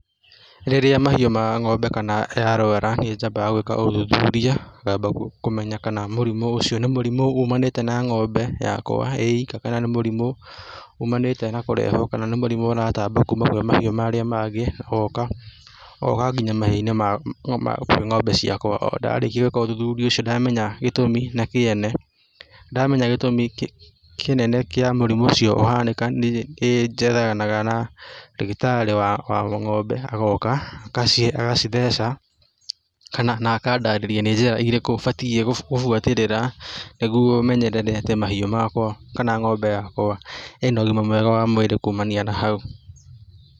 Rĩrĩa mahiũ ma ng'ombe kana yarwara nĩ njambĩga gwĩka ũthuthuria ngamba kũmenya kana mũrimũ ũcio nĩ mũrimũ ũmanĩte na ng'ombe yakwa ĩĩika kana nĩ mũrimũ ũmanĩte na kũrehwo kana mũrimũ ũratamba kuma kwĩ mahiũ marĩa mangĩ ũgoka, ũgoka nginya mahiũ-inĩ makwa, ũgoka kwĩ ng'ombe ciakwa, o ndarĩkia gwĩka ũthuthuria ũcio ndamenya gĩtũmi na kĩene, ndamenya gĩtũmi kĩnene kĩa mũrimũ ũcio ũhanĩke, nĩ njethanaga na ndagĩtarĩ wa ng'ombe agoka agacitheca kana na akandarĩria nĩ njĩra irĩkũ batie gũbuatĩrĩra nĩguo menyerere mahiũ makwa kana ng'ombe yakwa ĩna ũgima mwega wa mwĩrĩ kumania na hau.